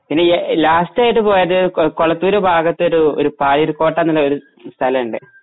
ഇനി ആ ലാസ്റ്റായിട്ട് പോയത് കോയ കൊളത്തൂര് ഭാഗത്തു ഒരു ഒരു താഴൊരു കോട്ട എന്നു പറഞ്ഞൊരു സ്ഥലമുണ്ട്